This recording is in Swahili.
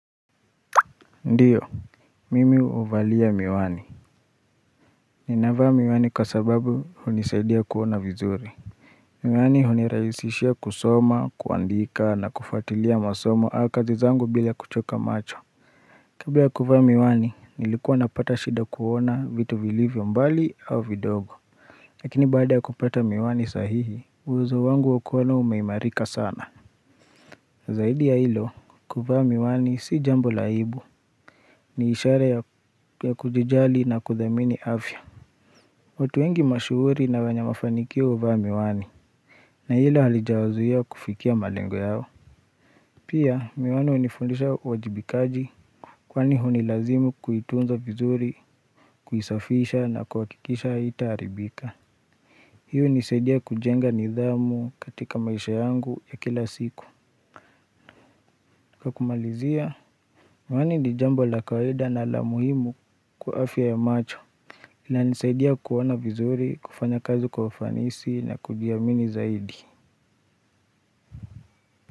Ndio, mimi huvalia miwani. Ninavaa miwani kwa sababu hunisaidia kuona vizuri. Miwani hunirahisishia kusoma, kuandika na kufuatilia masomo au kazi zangu bila kuchoka macho. Kabla ya kuvaa miwani, nilikuwa napata shida kuona vitu vilivyo mbali au vindogo. Lakini baada ya kupata miwani sahihi, uwezo wangu wa kuono umeimarika sana. Zaidi ya hilo, kuvaa miwani si jambo la aibu, ni ishara ya kujijali na kuthamini afya. Watu wengi mashuhuri na wenye mafanikio huvaa miwani, na hilo halijawazua kufikia malengo yao. Pia, miwani hunifundisha uwajibikaji, kwani hunilazimu kuitunza vizuri, kuisafisha na kuhakikisha haitaharibika. Hii hunisaidia kujenga nidhamu katika maisha yangu ya kila siku. Kwa kumalizia, miwani ni jambo la kawaida na la muhimu kwa afya ya macho inanisaidia kuona vizuri, kufanya kazi kwa ufanisi na kujiamini zaidi.